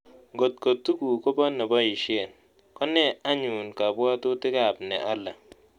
Kot ko tuguk ko po ne boisyen, ko nee anyun kabwaatutikap ne ale